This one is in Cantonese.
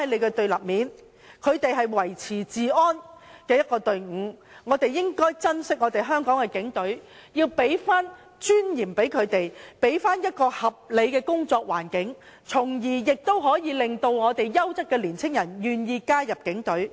警隊是維持治安的隊伍，我們應當珍惜香港的警隊，要將尊嚴還給他們，要給他們合理的工作環境，從而令優質年青人願意加入警隊。